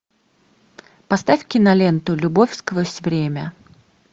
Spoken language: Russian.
поставь киноленту любовь сквозь время